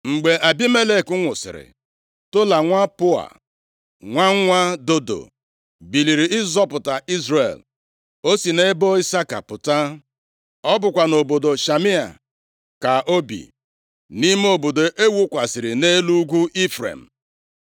Mgbe Abimelek nwụsịrị, Tola nwa Pua, nwa nwa Dodo, biliri ịzọpụta Izrel. O si nʼebo Isaka pụta. Ọ bụkwa nʼobodo Shamia ka o bi, nʼime obodo e wukwasịrị nʼelu ugwu Ifrem.